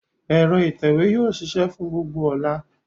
Ẹ̀rọ ìtẹ̀wé yóò ṣiṣẹ́ fún gbogbo ọ̀la.